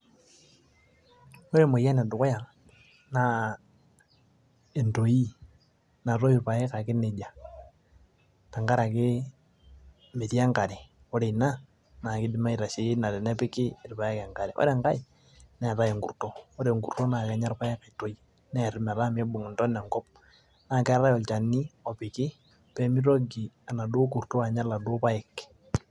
ore emoyian edukuya naa entooi, natoyu irpaek ake nejia, tenkaraki metii enkare, ore ina naa kidimi aitasheiki tenepiki irpaek enkare, ore enkae neetae enkurto, ore enkurto naa kenya rpaek aitoi, neer metaa miibung' intona enkop. naa keetae olchani opoki pee mitoki enaduo kurto anya iladuoo paek.